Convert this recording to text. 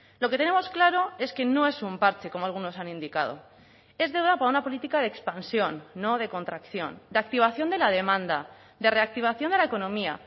lo que tenemos claro es que no es un parche como algunos han indicado es deuda para una política de expansión no de contracción de activación de la demanda de reactivación de la economía